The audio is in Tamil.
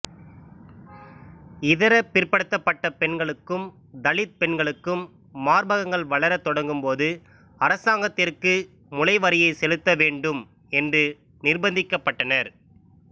இதர பிற்படுத்தப்பட்ட பெண்களுக்கும் தலித் பெண்களுக்கும் மார்பகங்கள் வளரத் தொடங்கும்போது அரசாங்கத்திற்கு முலை வரியைச் செலுத்த வேண்டும் என்று நிர்பந்திக்கப்பட்டனர்